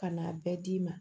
Ka n'a bɛɛ d'i ma